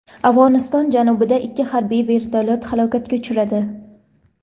Afg‘oniston janubida ikki harbiy vertolyot halokatga uchradi.